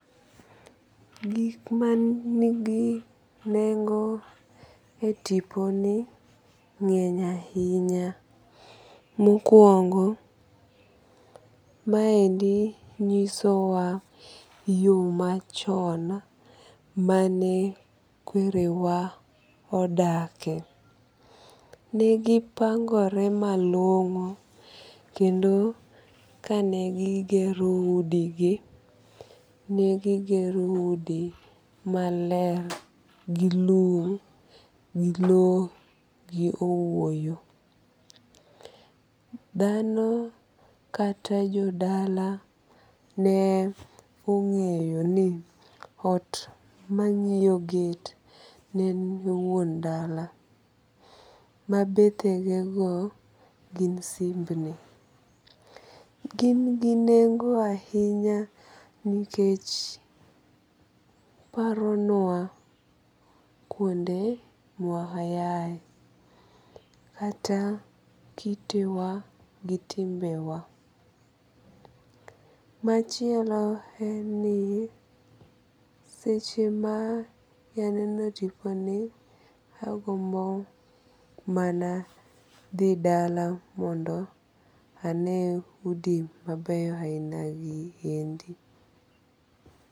Gik manigi nengo e tipo ni ng'eny ahinya. Mokuongo maendi nyiso wa yo machon mane kwere wa odake. Negi pangore malong'o kendo kane gi gigero udi gi negi gero udi maler gi lum, gi low, gi owuoyo. Dhano kata jodala ne ong'eyo ni ot mang'iyo get ne e wuon dala. Mabethe ge go gin simbni. Gin gi nengo ahinya nikech paro nwa kuonde ma wayae. Kata kitewa gi timbe wa. Machielo en ni seche ma aneno tiponi agombo mana dhi dala mondo ane udi mabeyo ahina gi endi.